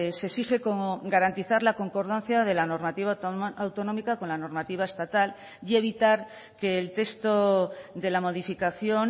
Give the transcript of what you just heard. se exige como garantizar la concordancia de la normativa autonómica con la normativa estatal y evitar que el texto de la modificación